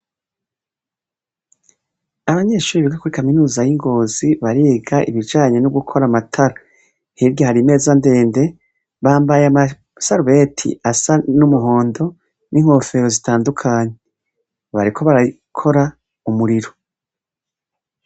Abanyeshure biga kuri kaminuza y'Ingozi bariga ibijanye nogukora amatara, hirya hari imeza ndende, bambaye amasarubeti asa n'umuhondo n'inkofero zitandukanye, bariko barakora umuriro.